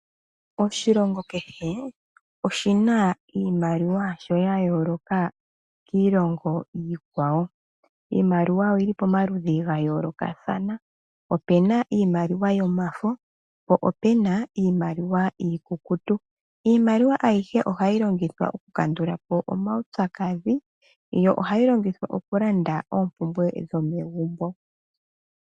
Oshilongo kehe oshina iimaliwa yasho yayooloka kiilongo iikwawo. Iimaliwa oyili pomaludhi gayoolokathana, opuna iimaliwa yomafo po opuna iimaliwa iikukutu. Iimaliwa ayihe ohayi longithwa okukandula po omaupyakadhi yo ohayi longithwa okulanda oompumbwe dhomegumbo.